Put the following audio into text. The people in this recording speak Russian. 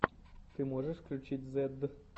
ты можешь включить зедд